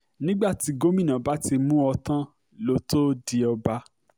nígbà tí gómìnà bá ti mú ọ tán ló tóó di ọba